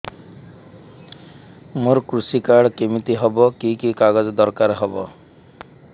ମୋର କୃଷି କାର୍ଡ କିମିତି ହବ କି କି କାଗଜ ଦରକାର ହବ